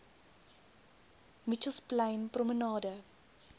mitchells plain promenade